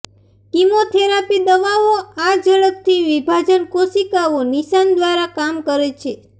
chemotherapy દવાઓ આ ઝડપથી વિભાજન કોશિકાઓ નિશાન દ્વારા કામ કરે છે